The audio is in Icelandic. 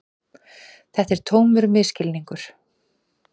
Þetta er tómur misskilningur.